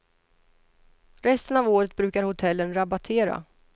Resten av året brukar hotellen rabattera.